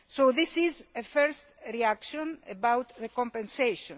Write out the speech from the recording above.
This is a first reaction about compensation.